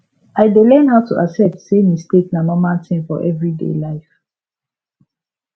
i dey learn how to accept say mistake na normal thing for everyday life